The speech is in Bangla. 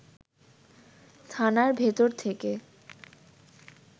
থানার ভেতর থেকে